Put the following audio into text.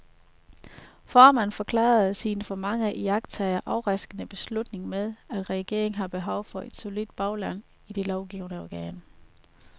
Formanden forklarede sin for mange iagttagere overraskende beslutning med, at regeringen har behov for et solidt bagland i det lovgivende organ.